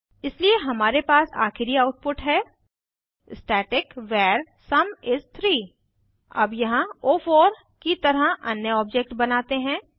इसलिए हमारे पास आखिरी आउटपुट है स्टैटिक वर सुम इस 3 अब यहाँ ओ4 की तरह अन्य ऑब्जेक्ट बनाते हैं